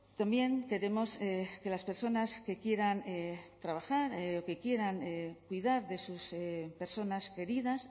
también queremos que las personas que quieran trabajar o que quieran cuidar de sus personas queridas